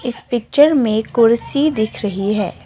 इस पिक्चर में कुर्सी दिख रही है।